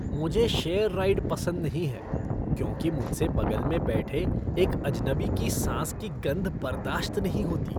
मुझे share ride पसंद नहीं हैं, क्योंकि मुझसे बगल में बैठे एक अजनबी की सांस की गंध बर्दाश्त नहीं होती।